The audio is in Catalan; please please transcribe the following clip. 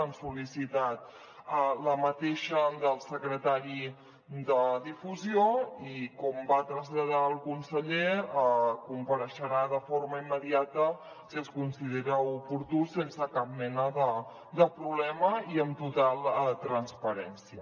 han sol·licitat la mateixa del secretari de difusió i com va traslladar el conseller compareixerà de forma immediata si es considera oportú sense cap mena de problema i amb total transparència